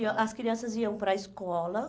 iam, as crianças iam para a escola.